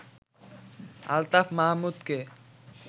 Altaf মাহমুদকে